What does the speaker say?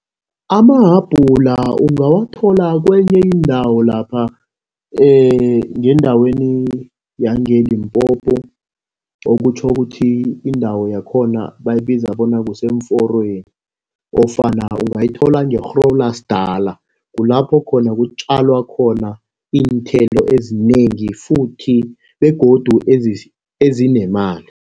Amahabhula ungawathola kenye indawo lapha ngendaweni yangeLimpopo. Okutjho ukuthi indawo yakhona bayibiza bona kuseemforweni nofana ungayithola nge-Groblersdal. Kulapho khona kutjalwa khona iinthelo ezinengi futhi begodu ezinemali.